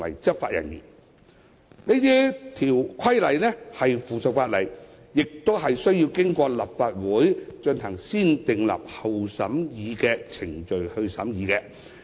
這些規例是附屬法例，須經過立法會進行"先訂立後審議"的程序。